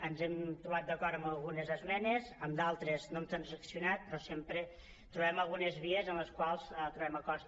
ens hem trobat d’acord amb algunes esmenes amb d’altres no hem transaccionat però sempre trobem algu·nes vies en les quals trobem acords